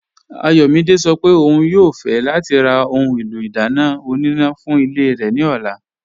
Ayọ̀mídẹ̀ sọ́ pé ọ̀un yóò fẹ̀ lati rà ohun èlò idána ọ̀nínà fún ilẹ̀ rẹ ni ọ̀là.